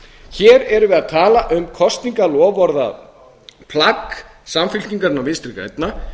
hér erum við að tala um kosningaloforðaplagg samfylkingarinnar og vinstri grænna